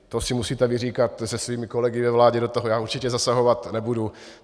To si musíte vyříkat se svými kolegy ve vládě, do toho já určitě zasahovat nebudu.